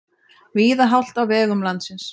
Víða hált á vegum landsins